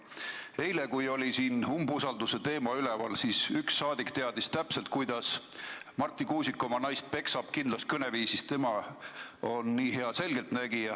Eile, kui siin oli umbusaldamise teema üleval, teadis üks saadik täpselt, kuidas Marti Kuusik oma naist peksab, ta kõneles kindlas kõneviisis, tema on nii hea selgeltnägija.